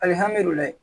Alihamudulila